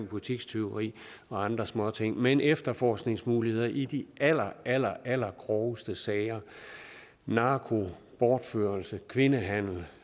butikstyveri og andre småting men efterforskningsmuligheder i de aller aller allergroveste sager narko bortførelse kvindehandel